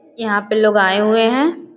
यहाँ पे लोग आए हुए हैं।